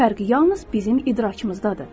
Fərqi yalnız bizim idrakımızdadır.